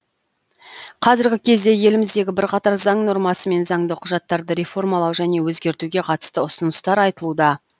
қазіргі кезде еліміздегі бірқатар заң нормасы мен заңды құжаттарды реформалау және өзгертуге қатысты ұсыныстар айтылуда